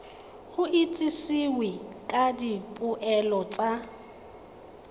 go itsisiwe ka dipoelo tsa